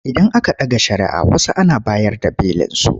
Idan aka ɗaga shari'ah wasu Ana bayar da belinsu.